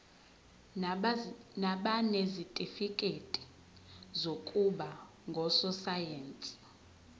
nabanezitifikedi zokuba ngososayense